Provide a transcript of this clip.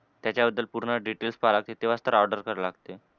त्याच्याबद्दल पूर्ण details पहाते तेव्हाच तर order करू लागते.